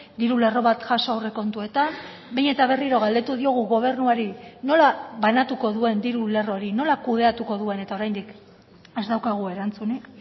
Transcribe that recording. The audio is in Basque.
diru lerro bat jaso aurrekontuetan behin eta berriro galdetu diogu gobernuari nola banatuko duen diru lerro hori nola kudeatuko duen eta oraindik ez daukagu erantzunik